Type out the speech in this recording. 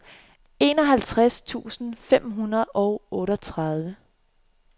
enoghalvtreds tusind fem hundrede og otteogtredive